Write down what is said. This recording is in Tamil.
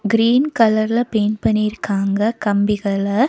கிரீன் கலர்ல பெயிண்ட் பண்ணிருக்காங்க கம்பிகள.